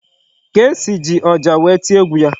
Kcee ji ọjà wee tie egwu ya.